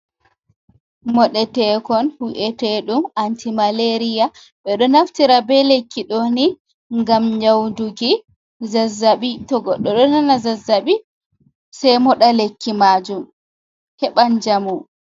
Moɗetekon wi'eteɗum antimaleriya. Ɓe ɗo naftira be lekki ɗo ni ngam nyaudugi zazzaɓi to goɗɗo ɗo nana zazzaɓi sai moɗa lekki majum, heɓan njamu.